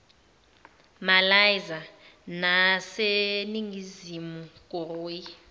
malaysia naseningizimu koriya